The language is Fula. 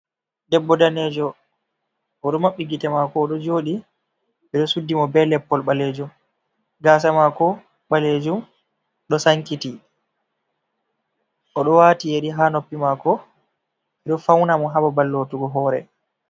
Debbo danejo, o ɗo maɓɓi gite maako. O ɗo joodi, ɓe ɗo suddi mo be leppol balejum. Gaasa maako ɓaleejum ɗo sankiti, o ɗo waati yeri ha noppi maako, ɓe ɗo fauna mo ha babal lootugo hoore.